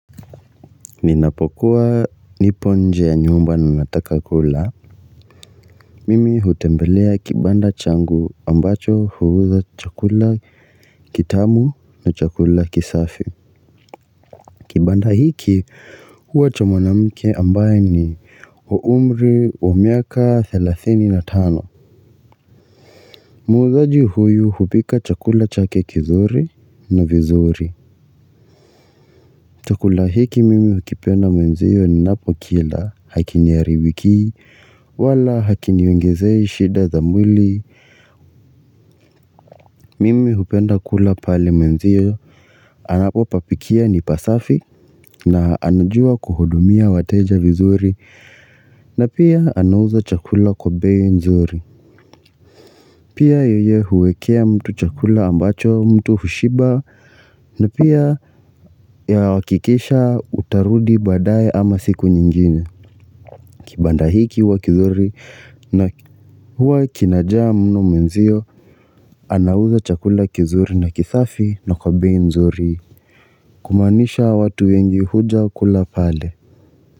Ninapokuwa nipo nje ya nyumba na nataka kula. Mimi hutembelea kibanda changu ambacho huuza chakula kitamu na chakula kisafi. Kibanda hiki huwa cha mwanamke ambaye ni wa umri wa miaka 35. Muuzaji huyu hupika chakula chake kizuri na vizuri. Chakula hiki mimi hukipenda mwanzio ninapo kila hakiniaribikii, wala hakiniongezei shida za mwili, mimi hupenda kula pale mwenzie, anapopapikia ni pasafi, na anajua kuhudumia wateja vizuri, na pia anauza chakula kwa bei nzuri. Pia yeye huwekea mtu chakula ambacho mtu hushiba na pia ya hakikisha utarudi badaye ama siku nyingine kibanda hiki huwa kizuri na huwa kinajaa mno mwenzio anauza chakula kizuri na kisafi na kwa bei nzuri Kumaanisha watu wengi huja kula pale.